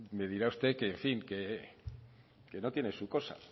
me dirá usted que en fin que no tiene su cosa